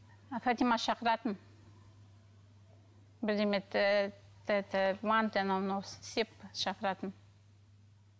фатима шақыратын бірдеме манты анау мынау істеп шықыратын